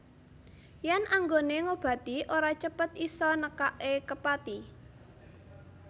Yen anggone ngobati ora cepet isa nekake kepati